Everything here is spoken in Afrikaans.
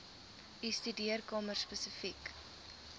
u studeerkamer spesifiek